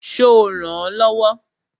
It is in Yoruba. Ṣo rànán lọ́wọ́?